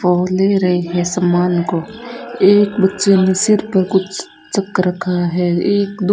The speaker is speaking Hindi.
और ले रहे हैं सामान को एक बच्चे ने सिर पर कुछ चक रखा है एक दो --